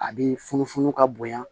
A bi funu funu ka bonya